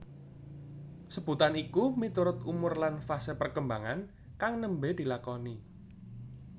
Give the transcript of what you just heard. Sebutan iku miturut umur lan fase perkembangan kang nembe dilakoni